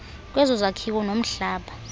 kwezo zakhiwo nomhlaba